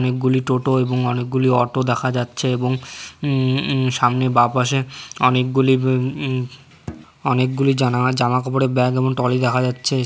অনেকগুলি টোটো এবং অনেকগুলি অটো দেখা যাচ্ছে এবং সামনে বা পাশে অনেকগুলি অনেকগুলি জামাকাপড়ের ব্যাগ এবং টলি দেখা যাচ্ছে।